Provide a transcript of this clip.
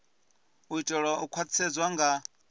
i tea u khwaṱhisedzwa nga